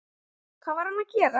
Hvað var hann að gera?